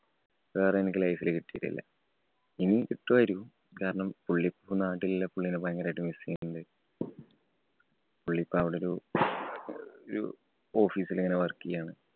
വേറെ എനിക്ക് life ല് കിട്ടിയിട്ടില്ല. ഇനിയും കിട്ടുമായിരിക്കും. കാരണം, പുള്ളി ഇപ്പോൾ നാട്ടിലില്ല. പുള്ളീനെ ഭയങ്കരമായിട്ട് miss ചെയ്യുണ്ട്. പുള്ളി ഇപ്പൊ അവിടെ ഒരു ഒരു office ല് ഇങ്ങനെ work ചെയ്യാണ്.